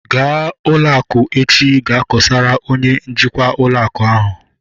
Ga ụlọ akụ echi gaa kosara onye njikwa ụlọ akụ ahu!